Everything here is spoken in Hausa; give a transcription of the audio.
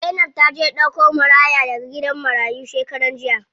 Zainab taje ta ɗauko maraya daga gidan marayu shekaran jiya.